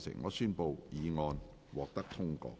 我宣布議案獲得通過。